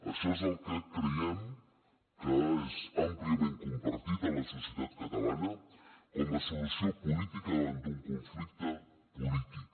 això és el que creiem que és àmpliament compartit a la societat catalana com a solució política davant d’un conflicte polític